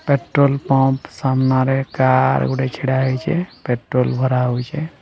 Petrol pump ସାମ୍ନାରେ car ଗୋଟେ ଛିଡା ହୋଇଛେ ପେଟ୍ରୋଲ ଭରା ହଉଛେ।